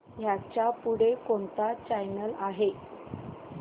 ह्याच्या पुढे कोणता चॅनल आहे